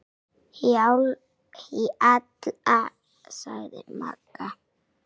Hjalla, sagði Magga.